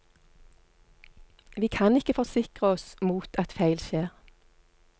Vi kan ikke forsikre oss mot at feil skjer.